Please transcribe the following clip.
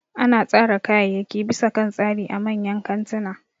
Ana tsara kayayyaki bisa kan tsari a manyan kantuna